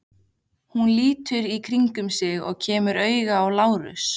Hún lítur í kringum sig og kemur auga á Lárus.